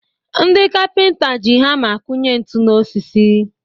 Ndị kapịnta ji hama akụnye ntu n'osisi